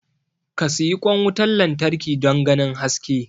ka siyi kwan wutar lantarki don ganin haske